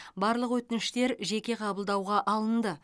барлық өтініштер жеке қабылдауға алынды